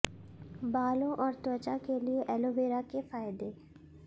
बालों और त्वचा के लिए एलोवेरा के फायदे